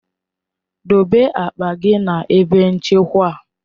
Dobe akpa gị na ebe nchekwa!